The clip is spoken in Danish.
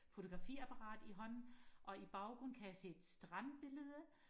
fotografiapparat i hånden og i baggrunden kan jeg se et strandbillede